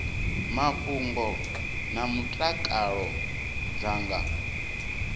mafhungo na mutakalo dza nga